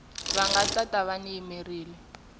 va nga ta va va